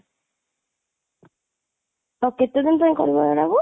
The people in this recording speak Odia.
ଆଉ କେତେ ଦିନ ପାଇଁ କରିବ ଏଇଟାକୁ